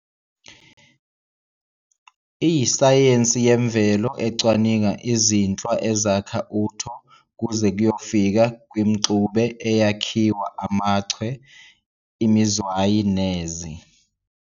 Iyisayensi yemvelo ecwaninga izinhlwa ezakha uTho kuze kuyofika kwimxube eyakhiwa amachwe, imizwayi nezi